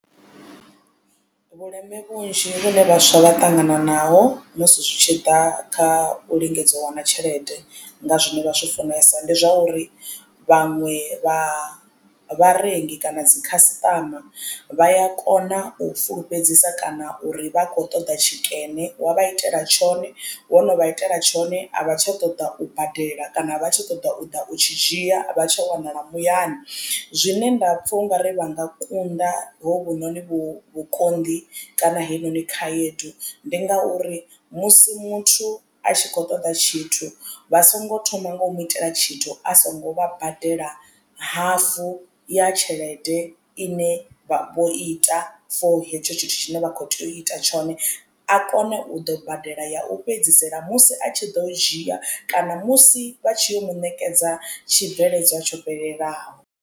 Vhuleme vhunzhi vhune vhaswa vha ṱangana naho musi zwi tshi ḓa kha u lingedza u wana tshelede nga zwine vha zwi funesa ndi zwa uri vhaṅwe vha vharengi kana dzi khasiṱama vha ya kona u fulufhedzisa kana uri vha kho ṱoḓa tshikene wa vha itela tshone wo no vha itela tshone a vha tsha ṱoḓa u badela kana a vha tshi ṱoḓa u ḓa u tshi dzhia a vha tsha wanala muyani. Zwine nda pfha ungari vha nga kunda hovhunoni vhu vhukonḓi kana heyi noni khaedu ndi ngauri musi muthu a tshi kho ṱoḓa tshithu vha songo thoma nga u mu itela tshithu a songo vha badela hafu ya tshelede ine vho ita for hetsho tshithu tshine vha kho tea u ita tshone a kone u ḓo badela ya u fhedzisela musi a tshi ḓo dzhia kana musi vha tshi yo mu ṋekedza tshibveledzwa tsho fhelelaho.